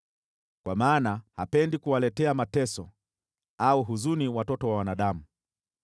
Kwa maana hapendi kuwaletea mateso au huzuni watoto wa wanadamu.